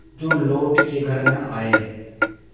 जो लौट के घर न आये